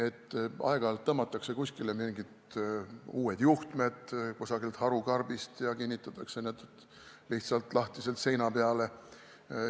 Teinekord tõmmatakse kuskile mingid uued juhtmed kusagilt harukarbist ja kinnitatakse need lihtsalt lahtiselt seina peale.